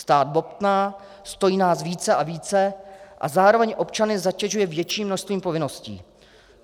Stát bobtná, stojí nás více a více a zároveň občany zatěžuje větším množstvím povinností.